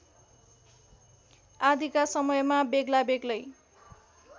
आदिका समयमा बेग्लाबेग्लै